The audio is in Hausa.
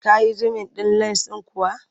Ka yi zumin ɗin lens ɗin kuwa?